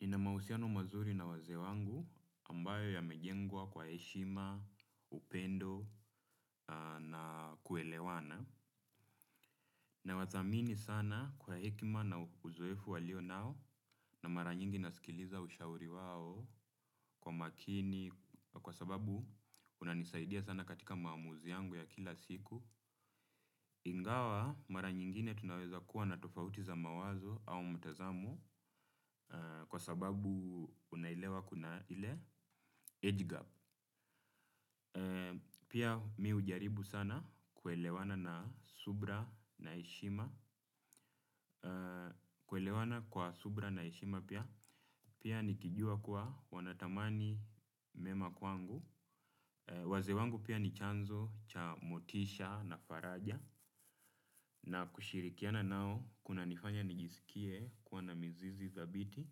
Nina mahusiano mazuri na wazee wangu ambayo yamejengwa kwa heshima, upendo na kuelewana. Nawathamini sana kwa hekima na uzoefu walio nao na mara nyingi nasikiliza ushauri wao kwa makini kwa sababu unanisaidia sana katika maamuzi yangu ya kila siku. Ingawa mara nyingine tunaweza kuwa na tofauti za mawazo au mtazamu kwa sababu unaelewa kuna ile age gap. Pia mi hujaribu sana kuelewana na subra na heshima. Kuelewana kwa subra na ishima pia. Pia nikijua kuwa wanatamani mema kwangu. Wazee wangu pia ni chanzo cha motisha na faraja na kushirikiana nao kunanifanya nijisikie kuwa na mizizi dhabiti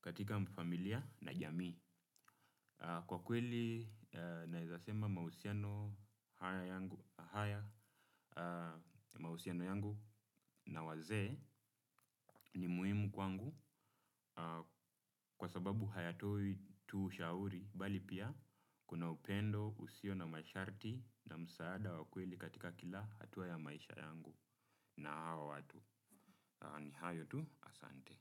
katika familia na jamii. Kwa kweli naezasema mahusiano haya yangu na wazee ni muhimu kwangu kwa sababu hayatoi tu ushauri bali pia kuna upendo usio na masharti na msaada wa kweli katika kila hatua ya maisha yangu na hawa watu. Ni hayo tu asante.